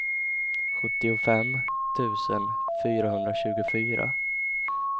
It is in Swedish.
sjuttiofem tusen fyrahundratjugofyra